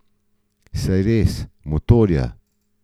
Saj res, motorja.